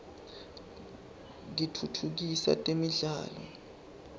kitfutfukisa temidlalo